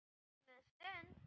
Mögnuð stund.